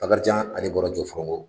Bakarijan ale bɔra Jɔfɔrɔngɔ